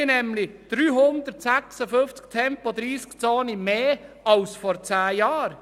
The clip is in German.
Wir haben nämlich 356 Tempo30-Zonen mehr als vor zehn Jahren.